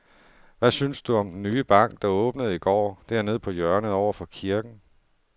Hvad synes du om den nye bank, der åbnede i går dernede på hjørnet over for kirken?